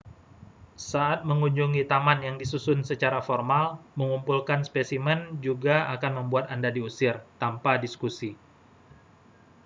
"saat mengunjungi taman yang disusun secara formal mengumpulkan spesimen juga akan membuat anda diusir tanpa diskusi.